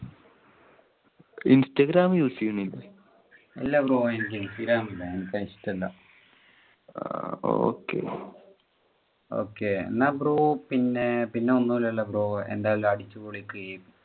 instagram use ചെയ്യുന്നില്ലേ. ഇല്ല bro എനിക്ക് instagram ഇല്ല എനിക്ക് അത് ഇഷ്ടം അല്ല. എന്നാ bro പിന്നെ ഒന്നുല്ലലോ bro എന്ന അടിച്ചുപൊളിക്ക്